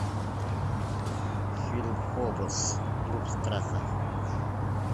фильм фобос клуб страха